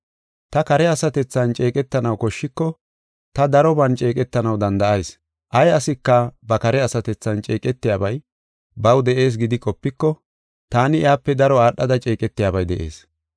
Ta kare asatethan ceeqetanaw koshshiko ta daroban ceeqetanaw danda7ayis. Ay asika ba kare asatethan ceeqetiyabay baw de7ees gidi qopiko, taani iyape daro aadhada ceeqetiyabay de7ees.